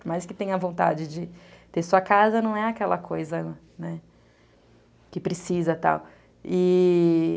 Por mais que tenha vontade de ter sua casa, não é aquela coisa que precisa, tal.